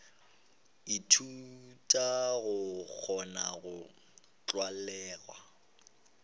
ithuta go kgona go tlwalega